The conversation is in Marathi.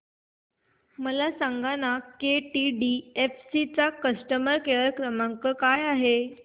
मला सांगाना केटीडीएफसी चा कस्टमर केअर क्रमांक काय आहे